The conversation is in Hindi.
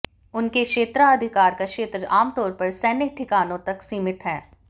उनके क्षेत्राधिकार का क्षेत्र आम तौर पर सैन्य ठिकानों तक सीमित है